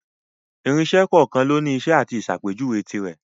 Irinṣẹ́ kọ̀ọ̀kan lóni iṣẹ́ àti ìsàpéjuwe tirẹ̀.